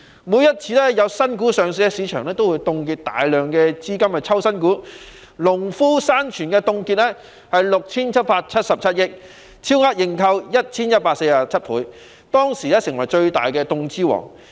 每次有新股上市，市場便會凍結大量資金去抽新股，例如農夫山泉凍資 6,777 億元，超額認購 1,147 倍，當時成為最大凍資王。